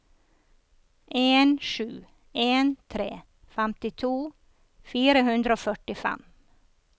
en sju en tre femtito fire hundre og førtifem